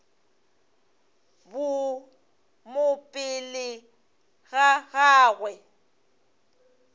bo mo pele ga gagwe